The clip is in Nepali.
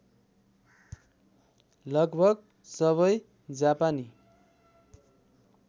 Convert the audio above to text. लगभग सबै जापानी